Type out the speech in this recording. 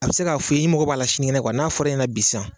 A bɛ se k'a fɔ ye n mago b'a la sinigɛnɛ n'a fɔra e ɲɛnɛ bi sisan.